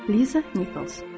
Liza Nikels.